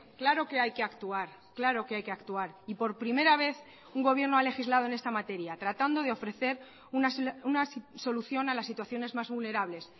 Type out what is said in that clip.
claro que hay que actuar claro que hay que actuar y por primera vez un gobierno ha legislado en esta materia tratando de ofrecer una solución a las situaciones más vulnerables